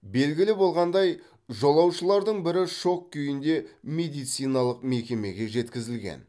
белгілі болғандай жолаушылардың бірі шок күйінде медициналық мекемеге жеткізілген